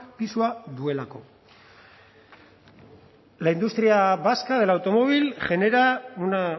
pisua duelako la industria vasca del automóvil genera una